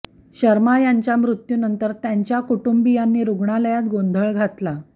शर्मा यांच्या मृत्यूनंतर यांच्या कुटुंबीयांनी रुग्णालयात गोंधळ घातला